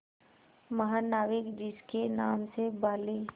महानाविक जिसके नाम से बाली